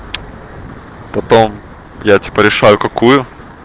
потом я типа решаю какую